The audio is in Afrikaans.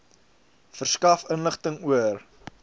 verskaf inligting oor